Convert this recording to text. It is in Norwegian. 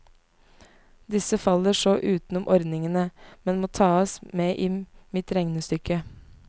Disse faller så utenom ordningene, men må tas med i mitt regnestykke.